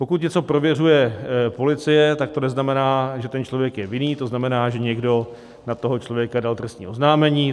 Pokud něco prověřuje policie, tak to neznamená, že ten člověk je vinen - to znamená, že někdo na toho člověka dal trestní oznámení.